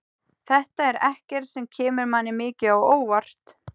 Þetta er ekkert sem kemur manni mikið á óvart.